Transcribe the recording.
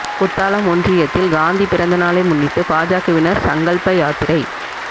குத்தாலம் ஒன்றியத்தில் காந்தி பிறந்த நாளை முன்னிட்டு பாஜகவினா் சங்கல்ப யாத்திரை